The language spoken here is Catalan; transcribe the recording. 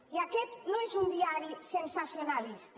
i aquest no és un diari sensacionalista